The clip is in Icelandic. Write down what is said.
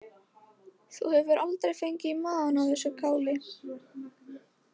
Þú hefur aldrei fengið í magann af þessu káli?